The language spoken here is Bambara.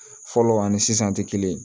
Fɔlɔ ani sisan tɛ kelen ye